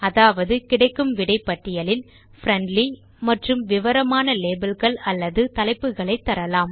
அதாவது கிடைக்கும் விடை பட்டியலில் பிரெண்ட்லி மற்றும் விவரமான லேபல்ஸ் அல்லது தலைப்புகளை தரலாம்